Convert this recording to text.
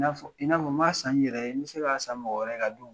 N'a fɔ n bɛ se k'a san n yɛrɛ ye, n be se k'a san mɔgɔ wɛrɛ ka d'o ma..